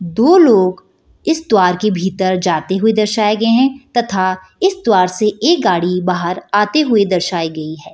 दो लोग इस द्वार के भीतर जाते हुए दर्शाई गए हैं तथा इस द्वार से एक गाड़ी बाहर आती हुई दर्शाई गयी है |